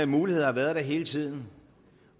mulighed har været der hele tiden